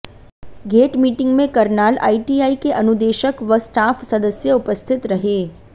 gate meeting में Karnal ITI के अनुदेशक व स्टाफ सदस्य उपस्थित रहे